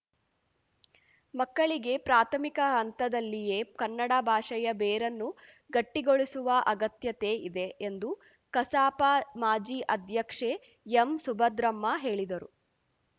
ಮಕ್ಕಳಿಗೆ ಪ್ರಾಥಮಿಕ ಹಂತದಲ್ಲಿಯೇ ಕನ್ನಡ ಭಾಷೆಯ ಬೇರನ್ನು ಗಟ್ಟಿಗೊಳಿಸುವ ಅಗತ್ಯತೆ ಇದೆ ಎಂದು ಕಸಾಪ ಮಾಜಿ ಅಧ್ಯಕ್ಷೆ ಎಂಸುಭದ್ರಮ್ಮ ಹೇಳಿದರು